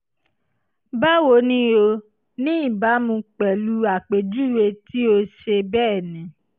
báwo ni o? ní ìbámu pẹ̀lú àpèjúwe tí o ṣe bẹ́ẹ̀ ni